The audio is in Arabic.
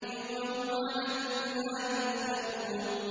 يَوْمَ هُمْ عَلَى النَّارِ يُفْتَنُونَ